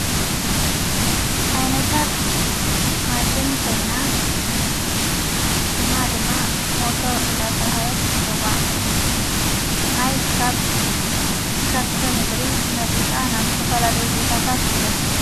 ኣይነታ ማሽን ኮይና ሽማ ድማ ሞቶር እንዳተልሃለት ትጽዋዕ ማይካብ ከርሰ ምድሪ መጢጣ ናብ ዝተፈላለይ ቦታታት ትደፍእ።